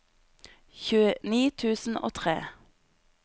tjueni tusen og tre